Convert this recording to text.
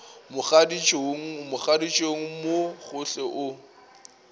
mogaditšong mogaditšong mo gohle o